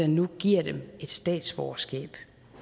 nu giver dem et statsborgerskab